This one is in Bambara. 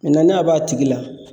n'a b'a tigi la